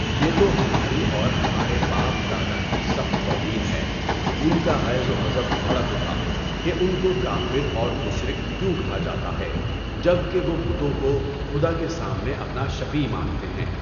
یہ تو ہماری اور ہمارے باپ دادا کی سخت توہین ہے۔ ان کا غیظ و غضب بھڑک اٹھا کہ ان کو کافر اور مشرک کیوں کہا جاتا ہے جبکہ وہ بتوں کو خدا کے سامنے اپنا شفیع مانتے ہیں؟